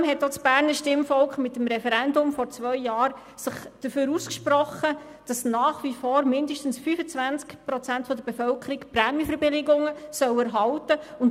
Zudem hat sich auch das Berner Stimmvolk vor zwei Jahren mit einem Referendum dafür ausgesprochen, dass nach wie vor mindestens 25 Prozent der Bevölkerung Prämienverbilligung erhalten sollen.